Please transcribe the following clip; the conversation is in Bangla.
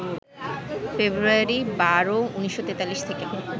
ফেব্রুয়ারি ১২, ১৯৪৩ থেকে